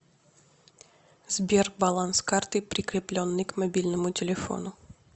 сбер баланс карты прикрепленной к мобильному телефону